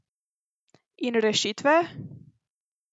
In rešitve?